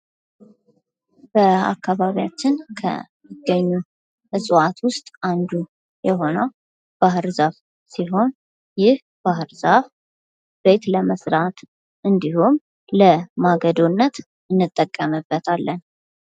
በአካባቢያችን ከሚገኙ እፅዋት ውስጥ አንዱ ባህር ዛፍ ሲሆን ይህ ባህር ዛፍ ቤት ለመስራት እንዲሁም ለማገዶነት ያገለግላል።